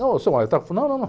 Não, eu sou, não, não, não.